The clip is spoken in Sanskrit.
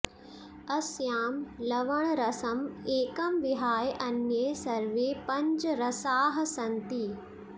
अस्यां लवणरसम् एकं विहाय अन्ये सर्वे पञ्च रसाः सन्ति